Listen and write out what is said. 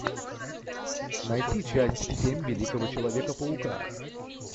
найти часть семь великого человека паука